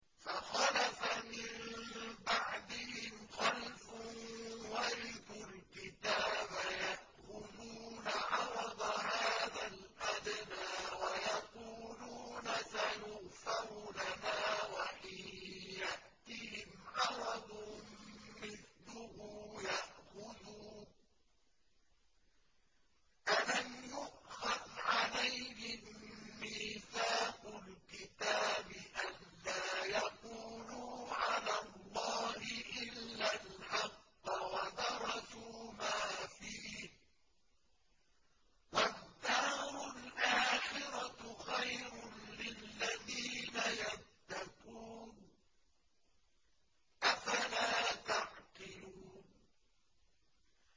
فَخَلَفَ مِن بَعْدِهِمْ خَلْفٌ وَرِثُوا الْكِتَابَ يَأْخُذُونَ عَرَضَ هَٰذَا الْأَدْنَىٰ وَيَقُولُونَ سَيُغْفَرُ لَنَا وَإِن يَأْتِهِمْ عَرَضٌ مِّثْلُهُ يَأْخُذُوهُ ۚ أَلَمْ يُؤْخَذْ عَلَيْهِم مِّيثَاقُ الْكِتَابِ أَن لَّا يَقُولُوا عَلَى اللَّهِ إِلَّا الْحَقَّ وَدَرَسُوا مَا فِيهِ ۗ وَالدَّارُ الْآخِرَةُ خَيْرٌ لِّلَّذِينَ يَتَّقُونَ ۗ أَفَلَا تَعْقِلُونَ